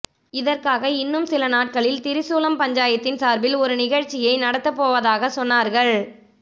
இதற்காக இன்னும் சில நாட்களில் திரிசூலம் பஞ்சாயத்தின் சார்பின் ஒரு நிகழ்ச்சியை நடத்த போவதாக சொன்னார்கள்